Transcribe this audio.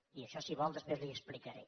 i això si vol després li ho explicaré